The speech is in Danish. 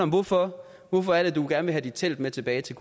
hvorfor hvorfor er det du gerne vil have dit telt med tilbage til